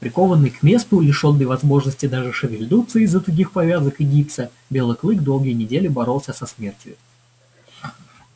прикованный к месту лишённый возможности даже шевельнуться из-за тугих повязок и гипса белый клык долгие недели боролся со смертью